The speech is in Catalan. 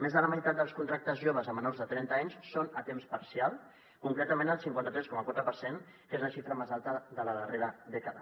més de la meitat dels contractes joves a menors de trenta anys són a temps parcial concretament el cinquanta tres coma quatre per cent que és la xifra més alta de la darrera dècada